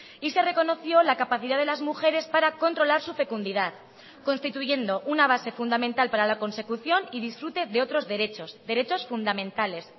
y se reconoció la capacidad de las mujeres para controlar su fecundidad constituyendo una base fundamental para la consecución y disfrute de otros derechos derechos fundamentales